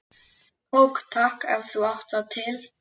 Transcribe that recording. Kók takk, ef þú átt það til!